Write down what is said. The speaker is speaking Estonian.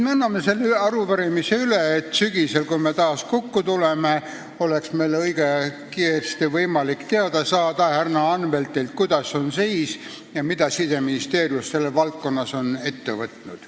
Me anname selle arupärimise üle, et sügisel, kui me taas kokku tuleme, oleks meil õige kiiresti võimalik härra Anveltilt teada saada, milline on seis ja mida Siseministeerium selles valdkonnas on ette võtnud.